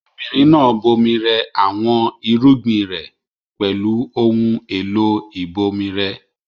Obìnrin náà bomi rẹ àwọn irúgbìn rẹ̀ pẹ̀lú ohun-èlò ìbomirẹ.